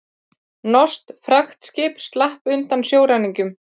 Norskt fraktskip slapp undan sjóræningjum